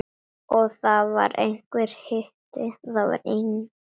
Og það var einhver hiti.